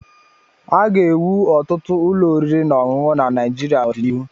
A ga-ewu ọtụtụ ụlọ oriri na ọṅụṅụ na Naịjịrịa n'ọdịnihu.